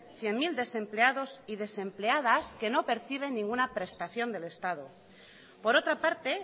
cien mil desempleados y desempleadas que no perciben ninguna prestación del estado por otra parte